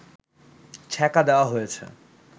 ছ্যাঁকা দেওয়া হয়েছে